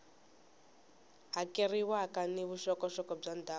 hakeriwaka ni vuxokoxoko bya ndhawu